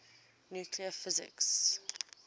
nuclear physics